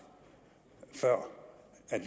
før